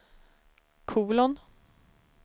kolon